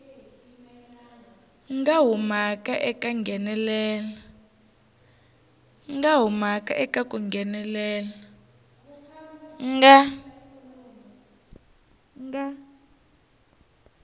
nga humaka eka ku nghenelela